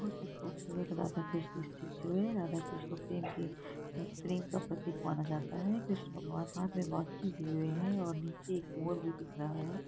बहोत खूबसूरत राधाकृष्ण स्टेचू है। राधाकृष्ण को प्रेम की प्रेम का प्रतीक माना जाता है कृष्ण भगवान हाथ मे बाँसुरी लिए हुए हैं और नीचे एक मोर भी दिख रहा है।